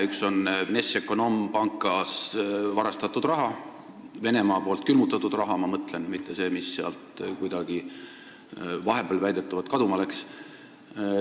Üks on Vnešekonombankis varastatud raha – pean silmas Venemaa poolt külmutatud raha, mitte seda, mis sealt vahepeal väidetavalt kuidagi kaduma läks.